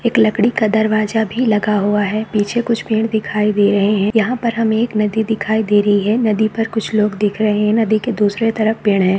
एक लड़की का दरवाज़ा भी लगा हुआ है। पीछे कुछ पेड़ दिखाई दे रहे हैं। यहाँ पर हम एक नदी दिखाई दे रही है। नदी पर कुछ लोग दिख रहे हैं। नदी के दूसरी तरफ पेड़ है।